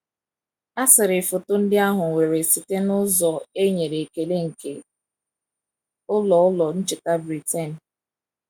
A sịrị foto ndị ahụ were site n’ụzọ e nyere ekele nke Ụlọ Ụlọ Ncheta Britain.